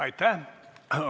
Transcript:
Aitäh!